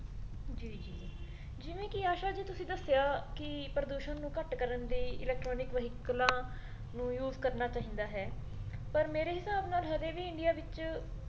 ਜੀ ਜਿਵੇਂ ਕੀ ਆਸ਼ਾ ਜੀ ਤੁਸੀ ਦੱਸਿਆ ਅਹ ਕੀ ਪ੍ਰਦੂਸ਼ਣ ਨੂੰ ਘੱਟ ਕਰਨ ਦੇ electronic ਵਹੀਕਲਾਂ ਨੂੰ use ਕਰਨਾ ਚਾਹੀਦਾ ਹੈ ਪਰ ਮੇਰੇ ਹਿਸਾਬ ਨਾਲ ਹਜੇ ਵੀ ਇੰਡਿਆ ਵਿੱਚ